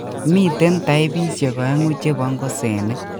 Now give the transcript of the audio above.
Miten taipisiek oengu chebo ng'osenik